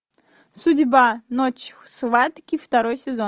судьба ночь схватки второй сезон